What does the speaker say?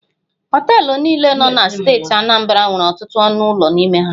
Họọtelụ niile nọ na steeti Anambra nwere ọtụtụ ọnụ ụlọ n'ime ha.